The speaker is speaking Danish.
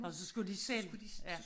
Og så skulle de selv ja